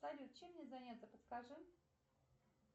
салют чем мне заняться подскажи